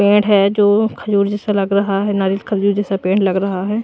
पेड़ है जो खजूर जैसा लग रहा है नारियल खजूर जैसा पेड़ लग रहा है।